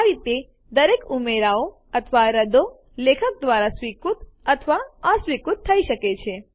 આ રીતે દરેક ઉમેરાઓ અથવા રદ્દો લેખક દ્વારા સ્વીકૃત અથવા અસ્વીકૃત થઇ શકે છે